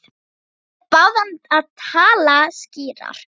Þeir báðu hann að tala skýrar.